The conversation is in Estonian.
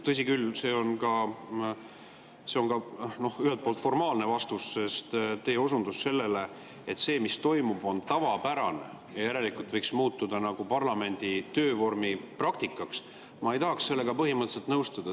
Tõsi küll, see on ühelt poolt ka formaalne vastus, sest teie osundus sellele, et see, mis toimub, on tavapärane ja järelikult võiks nagu muutuda parlamendi töö praktikaks – ma ei tahaks sellega põhimõtteliselt nõustuda.